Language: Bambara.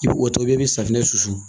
I bɛ o tɔbili i bɛ safinɛ susu